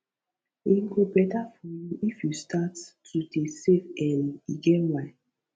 e go beta for you if you start to dey save early e get why